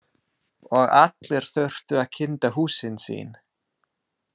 Og allir þurftu að kynda húsin sín.